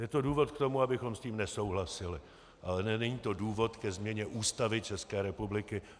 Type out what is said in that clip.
Je to důvod k tomu, abychom s tím nesouhlasili, ale není to důvod ke změně Ústavy České republiky.